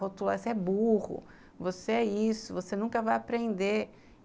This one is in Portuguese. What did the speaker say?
Rotuladas, você é burro, você é isso, você nunca vai aprender.